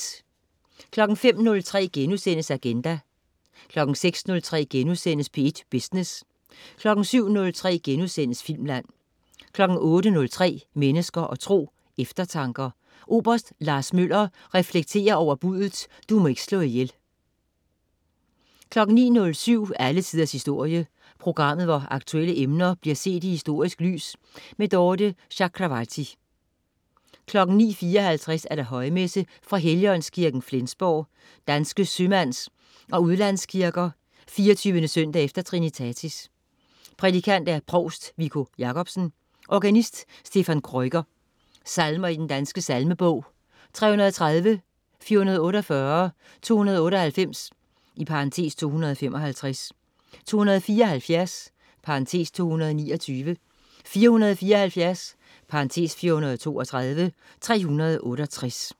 05.03 Agenda* 06.03 P1 Business* 07.03 Filmland* 08.03 Mennesker og Tro. Eftertanker. Oberst Lars Møller reflekterer over buddet: Du må ikke slå ihjel 09.07 Alle Tiders Historie. Programmet, hvor aktuelle emner bliver set i historisk lys. Dorthe Chakravarty 09.54 Højmesse. Fra Helligåndskirken, Flensborg, Danske Sømands & Udlandskirker. 24. søndag efter trinnitatis. Prædikant: provst Viggo Jacobsen. Organist: Stephan Krueger. Salmer i Den Danske Salmebog: 330, 448, 298 (255), 274 (229), 474 (432), 368